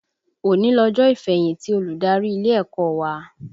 Òní lọjọ́ ìfẹ̀yìntì olùdarí ilé ẹ̀kọ́ wa